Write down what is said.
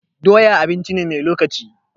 Doya abinci ce mai lokaci.